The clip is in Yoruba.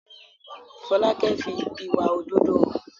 Folákẹ́ fi ìwà òdodo hàn